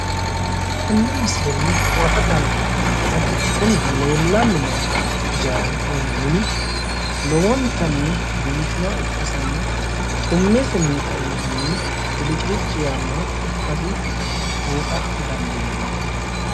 Tenne misilenni huwata dandiineemmohu kuni leellanni no ijaari woy mini lowontanni biifinoha ikkasinna xummessinni kainohunni bilicilicci yaannoha ikkasi buuxa dandiinanni.